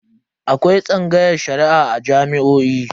Akwai tsangayar Shari'a a jami'o'i.